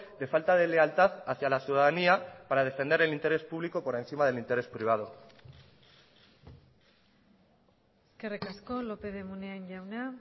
de falta de lealtad hacia la ciudadanía para defender el interés público por encima del interés privado eskerrik asko lópez de munain jauna